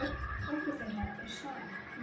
Dóttir þeirra er Sara, nemi.